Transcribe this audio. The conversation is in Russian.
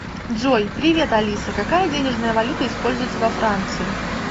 джой привет алиса какая денежная валюта используется во франции